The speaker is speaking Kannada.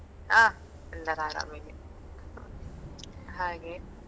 ಹಾ ಎಲ್ಲರೂ ಆರಾಮಿದ್ದೀವಿ ಹಾಗೆ.